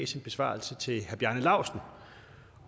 sin besvarelse til herre bjarne laustsen